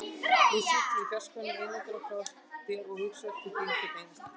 Nú sit ég í fjarskanum, einangraður frá þér, og hugsa til þín hvern einasta dag.